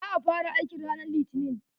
Za a fara aikin ranan litinin.